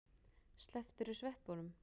Slepptirðu sveppunum?